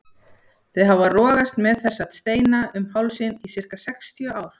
Þau hafa rogast með þessa steina um hálsinn í sirka sextíu ár.